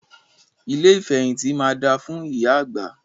Ilé ìfẹ̀hìntì máa da fún ìyá àgbà.